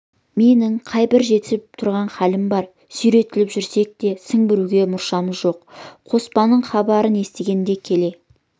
менің қайбір жетісіп тұрған хәлім бар сүйретіліп жүрсек те сіңбіруге мұршамыз жоқ қоспанның хабарын естігенде келе